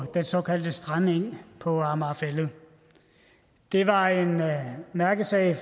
strandengen på amager fælled det var en mærkesag